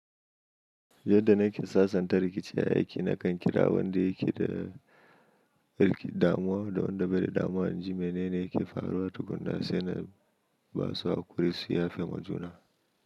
Yadda na ke sassanta rikici a aiki, na kan kira wanda yake da damuwa da wanda bai da damuwa, in ji mene ne yake faruwa tukunna, sai na basu a ƙuri su yafemo juna.